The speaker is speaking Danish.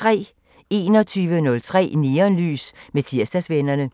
21:03: Neonlys med Tirsdagsvennerne